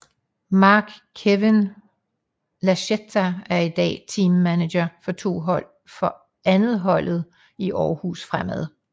Marc Kewin Lachetta er i dag Team Manager for 2 holdet i Aarhus Fremad